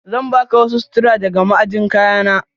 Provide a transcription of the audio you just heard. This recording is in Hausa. Zan baka wasu sutura daga ma'ajin kayana.